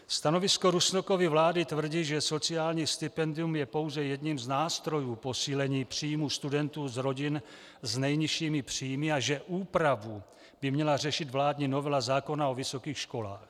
Stanovisko Rusnokovy vlády tvrdí, že sociální stipendium je pouze jedním z nástrojů posílení příjmů studentů z rodin s nejnižšími příjmy a že úpravu by měla řešit vládní novela zákona o vysokých školách.